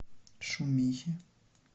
шумихе